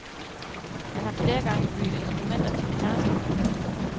Han har flere gange bygget instrumenter til kærester.